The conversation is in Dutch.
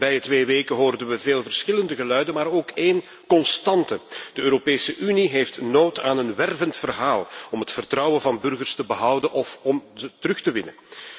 De voorbije twee weken hoorden we veel verschillende geluiden, maar ook één constante. De Europese Unie heeft behoefte aan een wervend verhaal om het vertrouwen van burgers te behouden of om het terug te winnen.